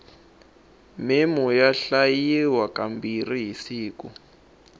meno ya hlambiwa ka mbirhi hi siku